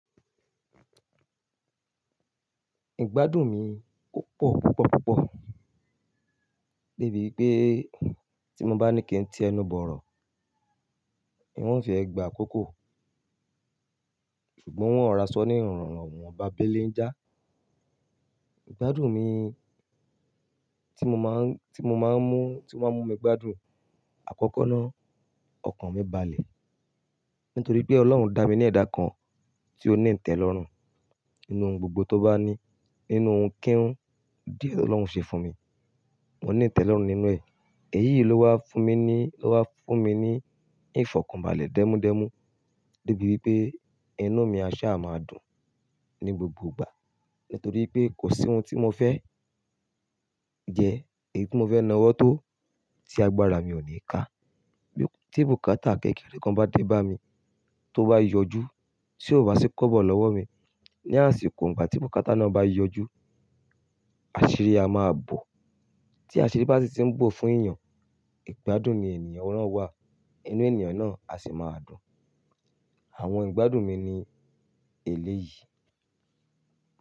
Ìgbádùn mi o pọ̀, púpọ̀, púpọ̀. Débi pé tí mo bá ní kí n ti ẹnu bọ̀rọ̀, un ò fẹ́ gba àkókò. Ṣùgbọ́n un ò ra sọ ní ìwọ́n ba bélé njà. Ìgbádùn mi tí mo máa, tí mo máa mú, tí ó máa mú mi gbádùn àkọ́kọ́ náà, ọkàn mi balẹ̀. Nítorí pé Ọlọ́run dá mi ní ẹ̀dá kan tí ó ní ìtẹ́lọrùn. Nínú ohun gbogbo tó bá ní, nínú ohun kíń hun díẹ̀ tó Ọlọ́run ṣe fún mi, mo ní ìtẹ́lọrùn nínú ẹ̀. Èyí ló wá fún mi ní, ló wá fún mi ní ìfọ̀kànbalẹ̀ dénú dénú. Débi wípé inú mi a ṣa máa dùn ní gbogbo ìgbà. Nítorí pé kò sí ohun tí mo fẹ́ jẹ, èyí tí mo fẹ́ nawọ́ tó tí agbára mi ò ní ka. Bí tí bùkátà kékeré kan bá dé bá mi, tó bá yọjú, tí ó bá sì kọ́bọ̀ lọ́wọ́ mi, ní àsìkò ìgbà tí bùkátà náà bá yọjú, àṣírí a máa bọ̀. Tí àṣírí bá sì ti ń bọ̀ fún èèyàn, ìgbádùn ni ènìyàn nàá wá. Inú ènìyàn náà á sì máa dùn. Àwọn ìgbádùn mi ni èlé yìí.